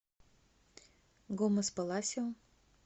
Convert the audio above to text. гомес паласио